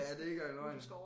Ja det ikke engang løgn